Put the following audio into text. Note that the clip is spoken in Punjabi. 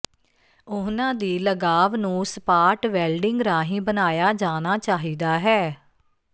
ਉਨ੍ਹਾਂ ਦੀ ਲਗਾਵ ਨੂੰ ਸਪਾਟ ਵੈਲਡਿੰਗ ਰਾਹੀਂ ਬਣਾਇਆ ਜਾਣਾ ਚਾਹੀਦਾ ਹੈ